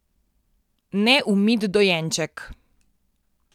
Neumit dojenček.